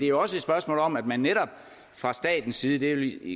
jo også et spørgsmål om at man netop fra statens side det vil